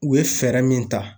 U ye fɛɛrɛ min ta.